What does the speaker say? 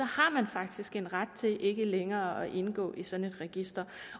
har man faktisk en ret til ikke længere at indgå i sådan et register